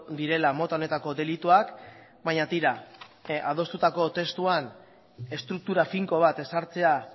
direla mota honetako delituak baina tira adostutako testuan estruktura finko bat ezartzea